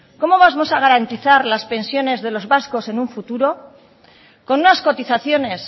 cómo vamos a garantizar las pensiones de los vascos en un futuro con unas cotizaciones